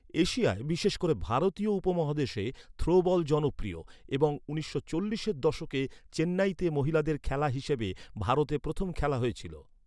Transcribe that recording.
এশিয়ায়, বিশেষ করে ভারতীয় উপমহাদেশে থ্রোবল জনপ্রিয় এবং উনিশশো চল্লিশের দশকে চেন্নাইতে মহিলাদের খেলা হিসেবে ভারতে প্রথম খেলা হয়েছিল।